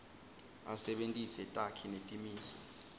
asebentise takhi netimiso